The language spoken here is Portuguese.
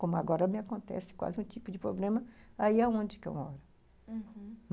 Como agora me acontece quase um tipo de problema, aí é onde que eu moro, uhum.